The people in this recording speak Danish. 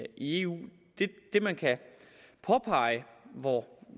i eu det man kan påpege og hvor